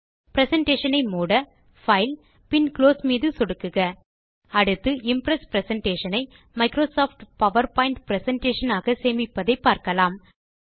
presentation ஐ மூட file பின் குளோஸ் மீது சொடுக்குக அடுத்து இம்ப்ரெஸ் பிரசன்டேஷன் ஐ மைக்ரோசாஃப்ட் பவர்பாயிண்ட் பிரசன்டேஷன் ஆக சேமிப்பதை பார்க்கலாம்